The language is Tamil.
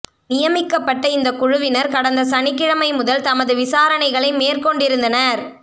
நியமிக்கப்பட்ட இந்தக் குழுவினர் கடந்த சனிக்கிழைமை முதல் தமது விசாரணைகளை மேற்கொண்டிருந்தனர்